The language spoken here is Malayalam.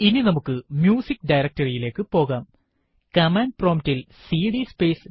homegnuhata വിവരണം സ്ലാഷ് ഹോം സ്ലാഷ് ഗ്നുഹത ഇനി നമുക്ക് മ്യൂസിക്ക് directory യിലേക്ക് പോകാം